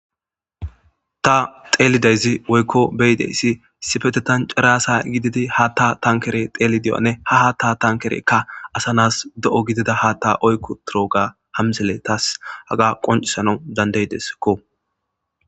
ta xeelideyzi woykko beyideyssi sifetetancarasa gididi ha ta tankere xeeli deyane ha ha ta tankereka asanas de7o gidida ha ta oykko torooga hamsele taas haga qoncisana dandaydeskko